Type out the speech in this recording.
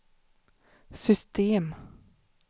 system